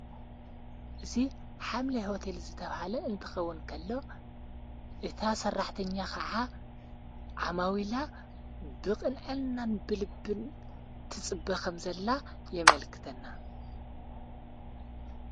እዙ ሓምለይ ሆተል ዘተብሃለ እንትኸውን ከሎ እታ ሠራሕተኛ ኸዓ ዓማዊላ ብቕንኤልናን ብልብን ትጽበኸም ዘላ የመልክተና አሎ።